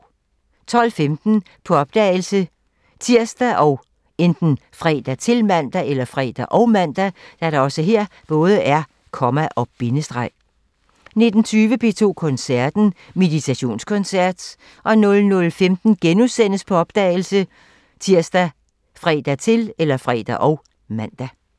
12:15: På opdagelse ( tir, fre, -man) 19:20: P2 Koncerten – Meditationskoncert 00:15: På opdagelse *( tir, fre, -man)